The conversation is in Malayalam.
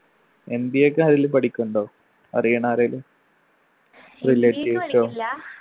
MBA ക്ക് ആരേലും പഠിക്കുണ്ടൊ അറിയണ ആരേലും relatives ഓ